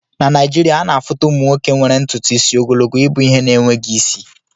Na Naịjirịaana afuta ụmụ nwoke nwere ntutu isi ogologo ibu ihe na-enweghị isi